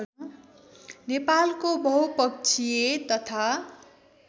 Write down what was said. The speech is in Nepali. नेपालको बहुपक्षीय तथा